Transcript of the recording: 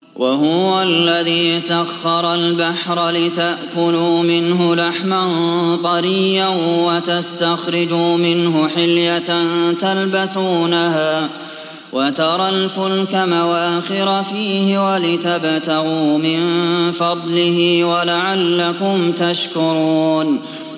وَهُوَ الَّذِي سَخَّرَ الْبَحْرَ لِتَأْكُلُوا مِنْهُ لَحْمًا طَرِيًّا وَتَسْتَخْرِجُوا مِنْهُ حِلْيَةً تَلْبَسُونَهَا وَتَرَى الْفُلْكَ مَوَاخِرَ فِيهِ وَلِتَبْتَغُوا مِن فَضْلِهِ وَلَعَلَّكُمْ تَشْكُرُونَ